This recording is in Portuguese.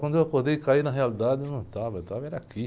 Quando eu acordei e caí na realidade, eu não estava, eu estava era aqui.